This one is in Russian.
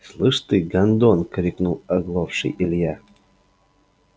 слышишь ты гондон крикнул оглохший илья